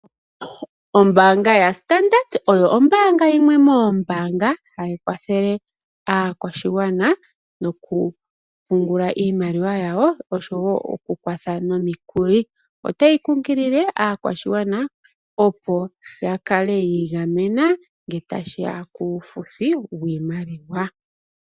Ombaanga yaStandard Bank oyo ombaanga yimwe moombaanga hayi kwathele aakwashigwana moku pungula iimaliwa yawo osho wo oku kwatha nomikuli. Otayi kunkilile aakwashigwana opo ya kale ya igamena ngele ta shi ya puufuthi wiimaliwa.